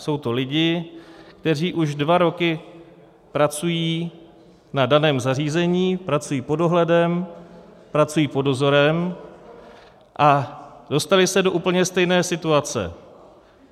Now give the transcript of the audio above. Jsou to lidi, kteří už dva roky pracují na daném zařízení, pracují pod dohledem, pracují pod dozorem a dostali se do úplně stejné situace.